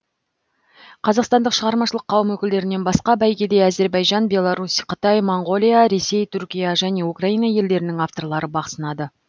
қазақстандық шығармашылық қауым өкілдерінен басқа бәйгеде әзірбайжан беларусь қытай моңғолия ресей түркия және украина елдерінің авторлары бақ сынады